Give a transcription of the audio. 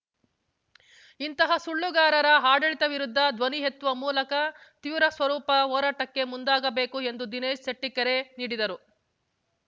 ಇಂತಹ ಸುಳ್ಳುಗಾರರ ಆಡಳಿತದ ವಿರುದ್ಧ ಧ್ವನಿ ಎತ್ತುವ ಮೂಲಕ ತೀವ್ರ ಸ್ವರೂಪ ಹೋರಾಟಕ್ಕೆ ಮುಂದಾಗಬೇಕು ಎಂದು ದಿನೇಶ್ ಶೆಟ್ಟಿಕೆರೆ ನೀಡಿದರು